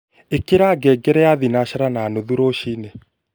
ikira ngengere ya thinashara na nuthu ruciini